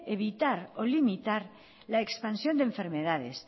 evitar o limitar la expansión de enfermedades